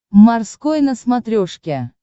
морской на смотрешке